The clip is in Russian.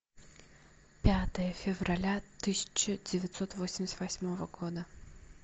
пятое февраля тысяча девятьсот восемьдесят восьмого года